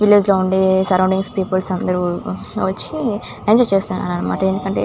Village లో ఉన్న surrounding people అందరూ వచ్చి ఎంజాయ్ చేస్తున్నారు అన్నమాట. ఎందుకంటే --